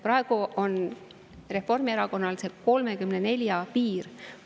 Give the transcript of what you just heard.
Praegu on Reformierakonnal see piir 34.